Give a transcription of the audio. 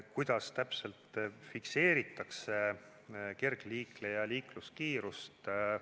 Kuidas täpselt fikseeritakse kergliikleja liikluskiirust?